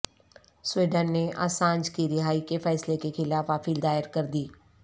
Sweden نے Assange کی رہائی کے فیصلے کے خلاف اپیل دائر کردی